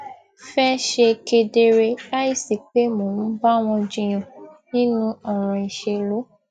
fé ṣe kedere láìsí pé mò ń bá wọn jiyàn nínú òràn ìṣèlú